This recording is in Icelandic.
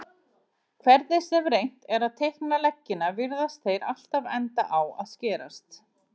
Hvernig sem reynt er að teikna leggina virðast þeir alltaf enda á að skerast.